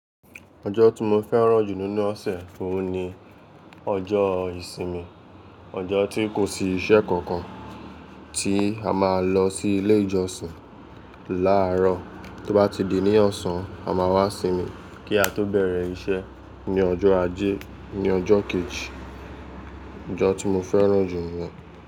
Ọjọ́ tí mo fẹ́ràn jù nínú ọ̀sẹ̀ oún ni ọjọ́ ìsinmi. Ọjọ́ tí kò sí iṣẹ́ kankan, tí a máa lọ sí ilé ìjọsìn láàárọ̀, tó bá ti di ní ọ̀sán a máa wá sinmi kí a tó bẹ̀rẹ̀ iṣẹ́ ní ọjọ́ ajé, ní ọjọ́ kejì. Ọjọ́ tí mo fẹ́ràn jù ni.